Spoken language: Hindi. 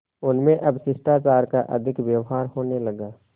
उनमें अब शिष्टाचार का अधिक व्यवहार होने लगा